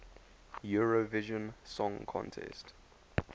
eurovision song contest